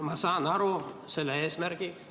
Ma saan aru selle eesmärgist.